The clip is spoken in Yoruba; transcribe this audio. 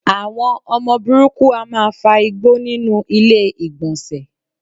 Àwọn ọmọ burúkú á máa fa igbó nínú ilé ìgbọ̀nsẹ̀.